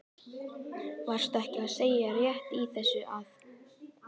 Varstu ekki að segja rétt í þessu að?